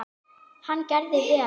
Hann gerði vel.